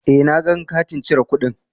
Eh, na gang kati cire kudin.